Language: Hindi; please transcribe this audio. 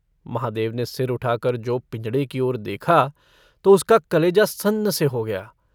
महादेव ने सिर उठाकर जो पिंजड़े की ओर देखा तो उसका कलेजा सन्न से हो गया।